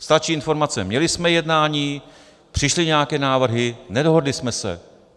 Stačí informace: Měli jsme jednání, přišly nějaké návrhy, nedohodli jsme se.